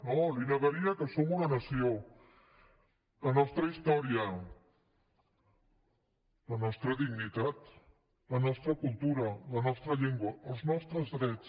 no li negaria que som una nació la nostra història la nostra dignitat la nostra cultura la nostra llengua els nostres drets